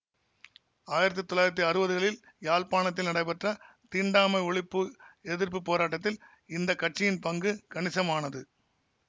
ஆயிரத்தி தொள்ளாயிரத்தி அறுவதுகளில் யாழ்ப்பாணத்தில் நடைபெற்ற தீண்டாமை ஒழிப்பு எதிர்ப்பு போராட்டத்தில் இந்த கட்சியின் பங்கு கணிசமானது